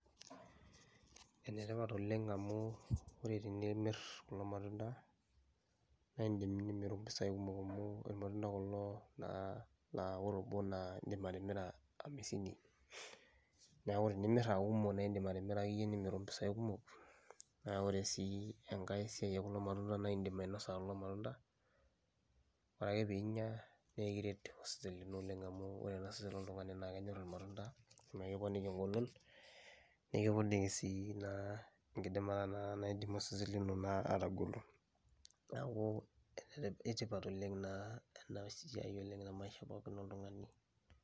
Ene tipat oleng' amu ore tenimir kulo matunda naa iindim nimiru mpisai kumok amu irmatunda kulo naa naa ore obo naa iindim atimira hamisini, neeku tenimir aa kumok nae iindim atimira akeyie nimiru impisai kumok. Naa ore sii enkae siai ee kulo matunda naa iindim ainosa kulo matunda, ore ake piinya nekiret osesen lino oleng' amu ore naa osesen loltung'ani naake enyor irmatunda nekiponiki eng'olon, nekiponi sii naa enkidimata naa naidim osesen lino naa atagolo. Neeku ene tip eitipat oleng' naa ena siai oleng' te maisha pookin oltung'ani.